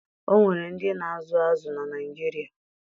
O nwere ndị na-azụ azụ na Naịjirịa